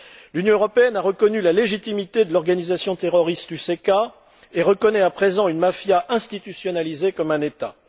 L'Union européenne a reconnu la légitimité de l'organisation terroriste UCK et reconnaît, à présent, une mafia institutionnalisée comme un État.